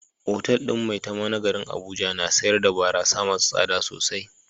Otal din Maitama na garin Abuja na sayar da barasa masu tsada sosai.